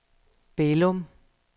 Bælum